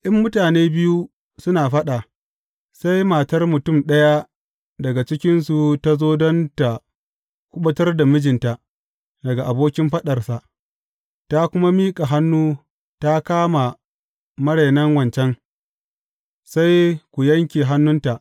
In mutane biyu suna faɗa, sai matar mutum ɗaya daga cikinsu ta zo don tă kuɓutar da mijinta daga abokin faɗarsa, ta kuma miƙa hannu ta kama marainan wancan, sai ku yanke hannunta.